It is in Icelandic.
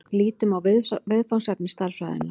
Lítum á viðfangsefni stærðfræðinnar.